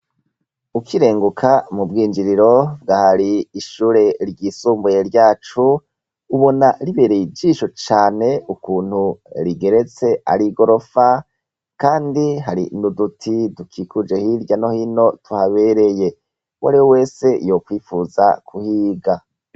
Ukirenguka mu bwinjiriro bw'ahari ishure ryisumbuye ryacu, ubona ribereye igisho cane, ukuntu rigeretse ari igorofa ; kandi hari n'uduti dukikuje hirya no hino, tuhabereye. Uwariwe wese yokwipfuza kuhiga.